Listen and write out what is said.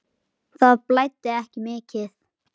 Það blæddi ekki mikið.